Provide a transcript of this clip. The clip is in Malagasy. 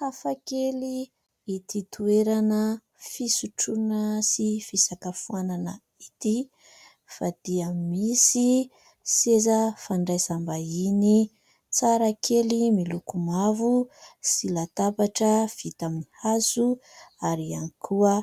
Hafa kely ity toerana fisotroana sy fisakafoanana ity fa dia misy seza fandraisam-bahiny tsara kely miloko mavo sy latabatra vita amin'ny hazo ary ihany koa